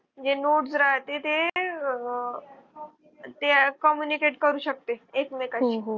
म्हणजे nodes राहते ते आह. ते communicate करू शकते एकमेकांशी